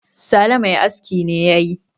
sale Mai aski ne ya yi